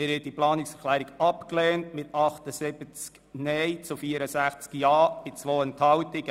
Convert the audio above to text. Sie haben diese Planungserklärung abgelehnt mit 78 Nein- zu 64 JaStimmen bei 2 Enthaltungen.